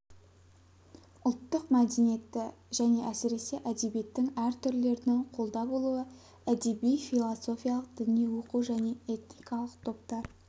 ұлттық мәдениетті және әсіресе әдебиеттің әр түрлерінің қолда болуы әдеби философиялық діни оқу және этникалық топтар